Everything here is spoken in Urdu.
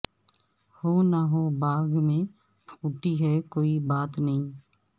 ہو نہ ہو باغ میں پھوٹی ہے کوئی بات نئی